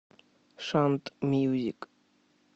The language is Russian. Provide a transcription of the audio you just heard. шант мьюзик